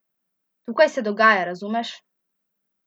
Tukaj se dogaja, razumeš?